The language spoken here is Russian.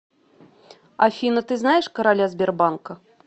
афина ты знаешь короля сбербанка